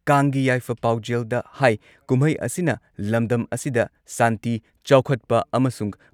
ꯀꯥꯡꯒꯤ ꯌꯥꯏꯐ ꯄꯥꯎꯖꯦꯜꯗ ꯍꯥꯏ ꯀꯨꯝꯍꯩ ꯑꯁꯤꯅ ꯂꯝꯗꯝ ꯑꯁꯤꯗ ꯁꯥꯟꯇꯤ, ꯆꯥꯎꯈꯠꯄ ꯑꯃꯁꯨꯡ